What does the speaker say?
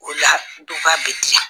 O la dɔ k'a bɛ diya